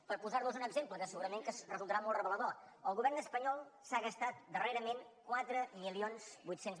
per posar los un exemple que segurament que resultarà molt revelador el govern espanyol s’ha gastat darrerament quatre mil vuit cents